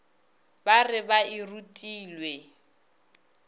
ba re ba e rutilwe